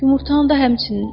Yumurtanı da həmçinin.